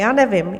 Já nevím.